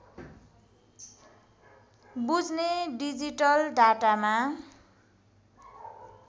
बुझ्ने डिजिटल डाटामा